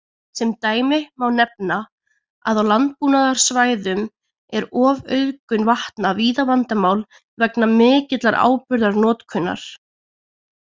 Sem dæmi má nefna að á landbúnaðarsvæðum er ofauðgun vatna víða vandamál vegna mikillar áburðarnotkunar.